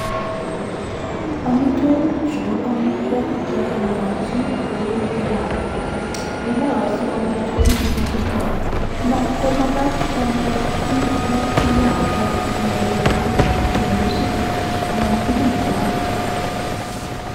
amitwagi chuu ko amitwagik chotok chenaaatin amun ngoaaam chitooo koetuu mising